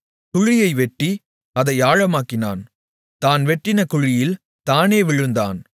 குழியை வெட்டி அதை ஆழமாக்கினான் தான் வெட்டின குழியில் தானே விழுந்தான்